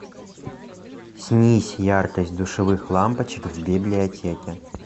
снизь яркость душевых лампочек в библиотеке